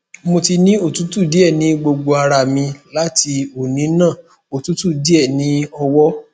mo ti ni otutu die ni gbogbo ara mi lati oni na otutu die ni owo